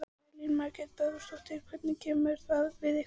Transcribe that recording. Elín Margrét Böðvarsdóttir: Hvernig kemur það við ykkur?